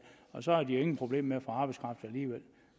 så har de jo alligevel ingen problemer